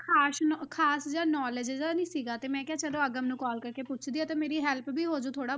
ਖ਼ਾਸ ਨੋ~ ਖ਼ਾਸ ਜਿਹਾ knowledge ਜਿਹਾ ਨੀ ਸੀਗਾ ਤੇ ਮੈਂ ਕਿਹਾ ਚਲੋ ਅਗਮ ਨੂੰ call ਕਰਕੇ ਪੁੱਛਦੀ ਹਾਂ ਤੇ ਮੇਰੀ help ਵੀ ਹੋ ਜਾਊ ਥੋੜ੍ਹਾ।